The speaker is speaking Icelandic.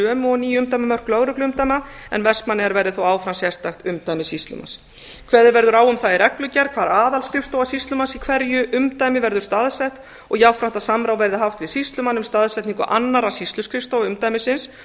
sömu og ný umdæmamörk lögregluumdæma en vestmannaeyjar verði þó áfram sérstakt umdæmi sýslumanns kveðið verður á um það í reglugerð hvar aðalskrifstofa sýslumanns í hverju umdæmi verður staðsett og jafnframt að að samráð verði haft við sýslumann um staðsetningu annarra sýsluskrifstofa umdæmisins